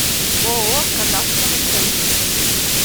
ооо кадастровый центр